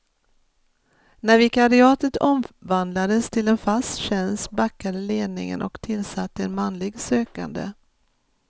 När vikariatet omvandlades till en fast tjänst backade ledningen och tillsatte en manlig sökande.